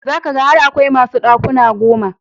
Za ka ga har akwai masu ɗakuna goma.